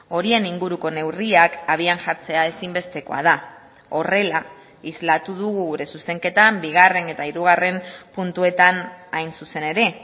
horien inguruko neurriak abian jartzea ezinbestekoa da horrela islatu dugu gure zuzenketan bigarren eta hirugarren puntuetan hain zuzen ere